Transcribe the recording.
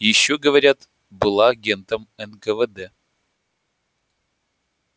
ещё говорят была агентом нквд